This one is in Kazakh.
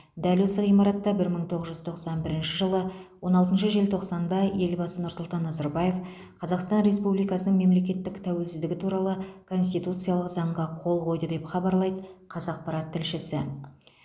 дәл осы ғимаратта бір мың тоғыз жүз тоқсан бірінші жылы он алтыншы желтоқсанда елбасы нұрсұлтан назарбаев қазақстан республикасының мемлекеттік тәуелсіздігі туралы конституциялық заңға қол қойды деп хабарлайды қазақпарат тілшісі